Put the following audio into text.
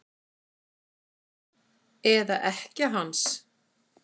Eða ekkja hans?